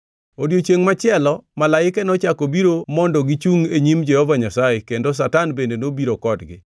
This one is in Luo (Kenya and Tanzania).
Odiechiengʼ machielo, malaike nochako obiro mondo gichungʼ e nyim Jehova Nyasaye, kendo Satan bende nobiro kodgi.